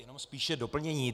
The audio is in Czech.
Jenom spíše doplnění.